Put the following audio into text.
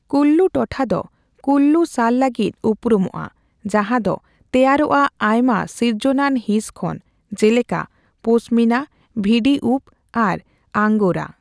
ᱠᱩᱞᱞᱩ ᱴᱚᱴᱷᱟ ᱫᱚ ᱠᱩᱞᱞᱩ ᱥᱟᱞ ᱞᱟᱹᱜᱤᱫ ᱩᱨᱩᱢᱚᱜᱼᱟ, ᱡᱟᱦᱟᱸ ᱫᱚ ᱛᱮᱭᱟᱨᱚᱜᱼᱟ ᱟᱭᱢᱟ ᱥᱤᱨᱡᱚᱱᱟᱱ ᱦᱤᱸᱥ ᱠᱷᱚᱱ ᱡᱮᱞᱮᱠᱟ ᱯᱚᱥᱢᱤᱱᱟ, ᱵᱷᱤᱰᱤ ᱩᱯᱽ ᱟᱨ ᱟᱝᱜᱳᱨᱟ ᱾